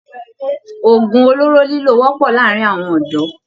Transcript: Òògùn olóró lílò wọ́pọ̀ láàárín àwọn ọ̀dọ́